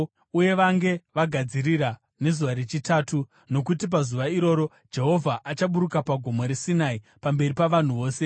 uye vange vagadzirira nezuva rechitatu, nokuti pazuva iroro Jehovha achaburuka paGomo reSinai pamberi pavanhu vose.